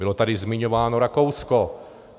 Bylo tady zmiňováno Rakousko.